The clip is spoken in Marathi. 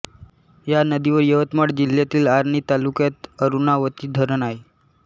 या नदीवर यवतमाळ जिल्ह्यातील आर्णी तालुक्यात अरुणावती धरण आहे